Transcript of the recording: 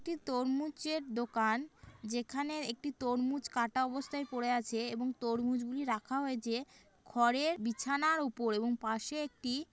একটি তরমুজের দোকান যেখানে একটি তরমুজ কাটা অবস্থায় পড়ে আছে এবং তরমুজগুলি রাখা হয়েছে খড়ের বিছানার উপর এবং পাশে একটি--